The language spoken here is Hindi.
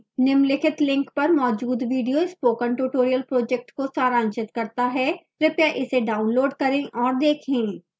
निम्नलिखित link पर मौजूद video spoken tutorial project को सारांशित करता है कृपया इसे डाउनलोड करें और देखें